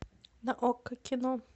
на окко кино